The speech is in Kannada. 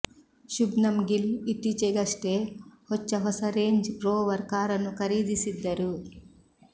ಶುಭ್ಮನ್ ಗಿಲ್ ಇತ್ತೀಚೆಗಷ್ಟೆ ಹೊಚ್ಚ ಹೊಸ ರೇಂಜ್ ರೋವರ್ ಕಾರನ್ನು ಖರೀದಿಸಿದ್ದರು